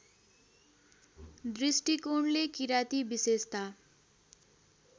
दृष्टिकोणले किराँती विशेषता